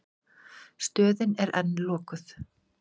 Stöðin er enn lokuð.